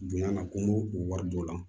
Bonya na ko mɔri dɔ la